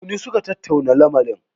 Tuni suka tattauna lamarin.